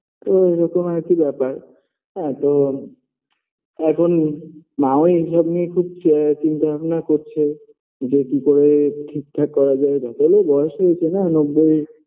তো ওরকম আর কি ব্যাপার হ্যাঁ তো এখন মা ও এসব নিয়ে খুব চি চিন্তাভাবনা করছে যে কি করে ঠিকঠাক করা যায় যতই হোক বয়স হয়েছে না নব্বই